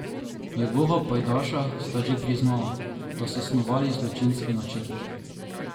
Njegova pajdaša sta že priznala, da so snovali zločinski načrt.